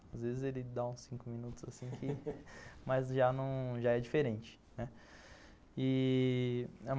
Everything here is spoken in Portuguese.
Às vezes ele dá uns cinco minutos assim que, mas num, já é diferente.